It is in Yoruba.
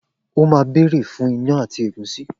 O má bèrè fun ìyan ati ègúsí